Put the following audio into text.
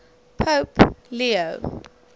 pope leo